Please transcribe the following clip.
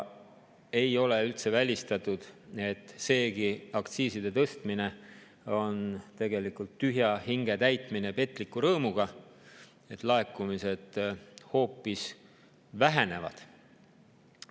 Ei ole üldse välistatud, et seegi aktsiiside tõstmine on tegelikult tühja hinge täitmine petliku rõõmuga, sest laekumised hoopis vähenevad.